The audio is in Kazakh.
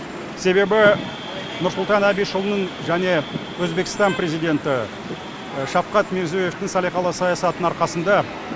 себебі нұрсұлтан әбішұлының және өзбекстан президенті шавкат мирзиеёвтің салиқалы саясатының арқасында